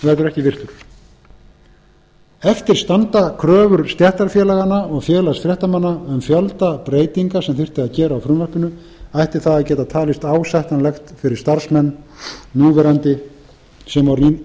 verður ekki virtur eftir standa kröfur stéttarfélaganna og félags fréttamanna um fjölda breytinga sem þyrfti að gera á frumvarpinu ætti það að geta talist ásættanlegt fyrir starfsmenn núverandi sem og